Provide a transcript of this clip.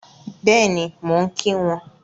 Bẹ́ẹ̀ni, mo ń kí wọn